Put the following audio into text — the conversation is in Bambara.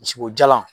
Misi o jalan